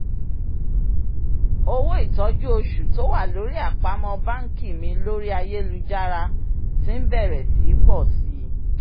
owó ìtọ́jú oṣù tó wà lórí àpamọ́ banki mi lórí ayélujára ti ń bẹrẹ̀ sí í pọ̀ sí i